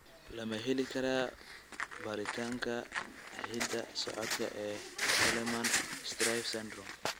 Ma la heli karaa baaritaanka hidda-socodka ee Hallermann Streiff syndrome?